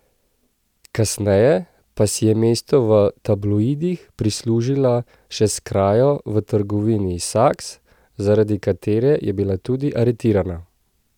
Kasneje pa si je mesto v tabloidih prislužila še s krajo v trgovini Saks, zaradi katere je bila tudi aretirana.